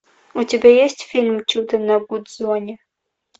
у тебя есть фильм чудо на гудзоне